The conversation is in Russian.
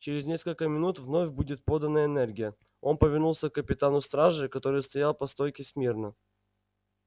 через несколько минут вновь будет подана энергия он повернулся к капитану стражи который стоял по стойке смирно